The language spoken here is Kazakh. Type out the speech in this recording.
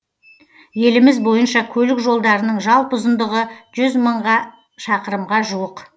еліміз бойынша көлік жолдарының жалпы ұзындығы жүз мыңға шақырымға жуық